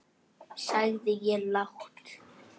sagði ég lágt.